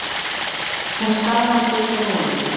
Hún staðnæmist við hólinn.